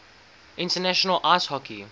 international ice hockey